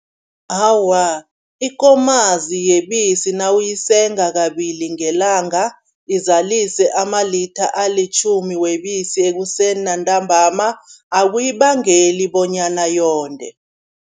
Awa, ikomazi yebisi nawuyisenga kabili ngelanga, izalise amalitha alitjhumi webisi ekuseni nantambama, akuyibangeli bonyana yonde.